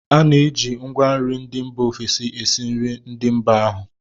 A na-eji ngwanri ndị mba ofesi esi nri ndị mba ahụ